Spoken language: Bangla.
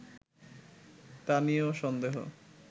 তা নিয়েও সন্দেহ